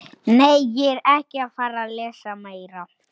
Ofan í langa skurði.